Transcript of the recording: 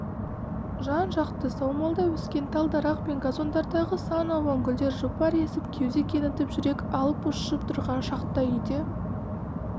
жан-жақты саумалдай өскен тал-дарақ пен газондардағы сан алуан гүлдер жұпар есіп кеуде кеңітіп жүрек алып-ұшып тұрған шақта үйде